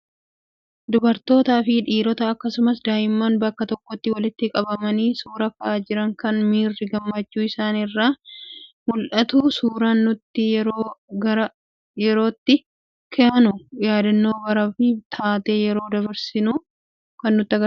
Dubartootaa fi dhiirota akkasumas daa'imman bakka tokkotti walitti qabamanii suuraa ka'aa jiran, kan miirri gammachuu isaan irraa mul'atudha. Suuraan nuti yeroo gara yerootti kaanu yaadannoo baraa fi taatee yeroo dabarsinee nu yaadachiisuu keessatti hammam humna qaba?